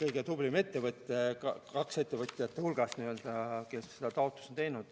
kõige tublim ettevõtja, kahe ettevõtja hulgas n‑ö, kes seda taotlust on teinud.